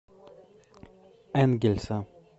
энгельса